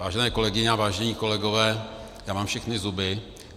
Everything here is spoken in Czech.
Vážené kolegyně a vážení kolegové, já mám všechny zuby.